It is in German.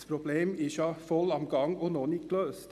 Das Problem ist präsent und nicht gelöst.